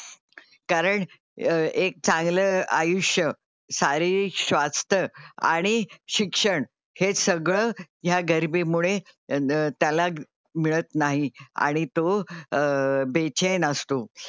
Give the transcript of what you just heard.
कारण एक चांगलं आयुष्य, शारीरिक स्वास्थ्य आणि शिक्षण हे सगळं या गरीबी मुळे त्याला मिळत नाही आणि तो अह बेचैन असतो.